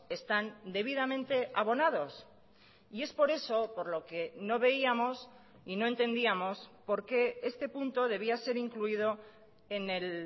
están debidamente abonados y es por eso por lo que no veíamos y no entendíamos por qué este punto debía ser incluido en el